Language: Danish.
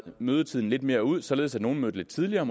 mødetiden lidt mere ud således at nogle mødte lidt tidligere